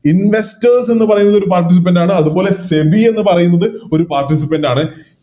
Investors എന്ന് പറയുന്നത് ഒരു Participant ആണ് അതുപോലെ SEBI എന്ന് പറയുന്നത് ഒരു Participant ആണ്